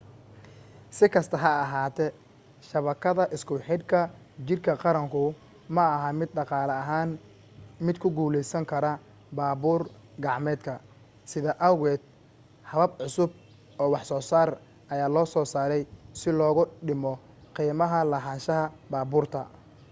sikasta ha ahaatee shabakadda isku xidhka jidka qaranku maaha mid dhaqaale ahaan mid ku guulaysankara baabuur gacmeedka sidaa awgeed habab cusub oo wax soosaar ayaa lasoo saaray si loogu dhimo qiimaha lahaanshaha baabuurta